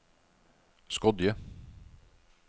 Skodje